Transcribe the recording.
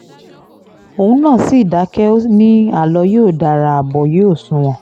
òun náà sì dákẹ́ ó ní àlọ yóò dara abo yóò sunwọ̀n